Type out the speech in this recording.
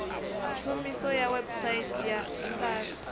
tshumiso ya website ya sars